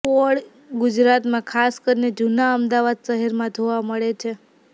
પોળ ગુજરાતમાં ખાસ કરીને જૂના અમદાવાદ શહેરમાં જોવા મળે છે